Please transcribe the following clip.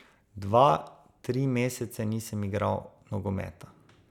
Dva, tri mesece nisem igral nogometa.